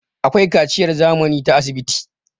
akwai kaciyar zamani ta asibiti